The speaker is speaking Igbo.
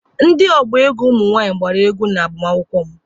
Ndị ọgba egwu ụmụ nwaanyị gbara egwu n'agbamakwụkwọ m.